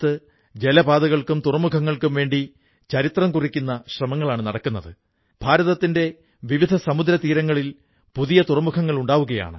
ഇന്ന് മൻ കീ ബാത്തിലൂടെ എല്ലാ ദേശവാസികൾക്കും വേണ്ടി ഞാൻ മംജൂർ ഭായി ഉൾപ്പടെ പുൽവാമയിലെ അധ്വാനികളായ സഹോദരീ സഹോദരൻമാരെയും അവരുടെ കുടുംബങ്ങളെയും പ്രശംസിക്കുന്നു